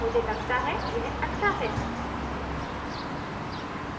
मुझे लगता है यह अच्छा है